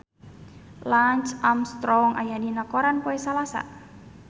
Lance Armstrong aya dina koran poe Salasa